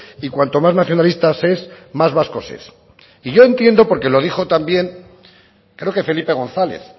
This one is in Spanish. y cuanto más nacionalista se es más vasco se es y yo entiendo porque lo dijo también creo que felipe gonzález